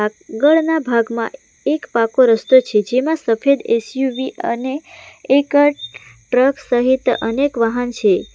આગળના ભાગમાં એક પાકો રસ્તો છે જેમાં સફેદ એસ_યુ_વી અને એક ટ્રક સહિત અનેક વાહન છે.